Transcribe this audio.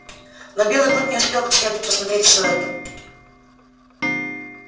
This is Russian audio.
но белый клык не успел как следует рассмотреть все это